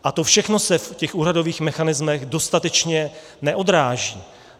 A to všechno se v těch úhradových mechanismech dostatečně neodráží.